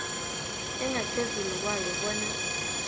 engaphezulu kwayo bona